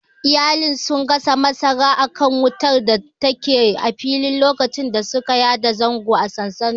Iyalin sun gasa masara akan wutar datake a fili lokacin da suka yada zango a sansaninsu.